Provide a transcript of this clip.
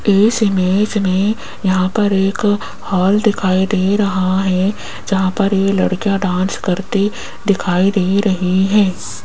इस इमेज में यहां पर एक हॉल दिखाई दे रहा है जहां पर ये लड़कियां डांस करती दिखाई दे रही है।